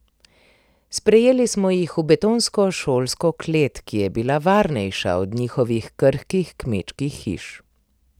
Sprejeli smo jih v betonsko šolsko klet, ki je bila varnejša od njihovih krhkih kmečkih hiš.